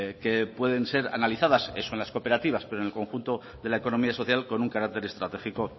que pueden ser analizadas eso en las cooperativas pero en el conjunto de la economía social con un carácter estratégico